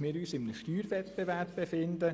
wir uns in einem Steuerwettbewerb befinden.